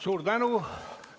Suur tänu!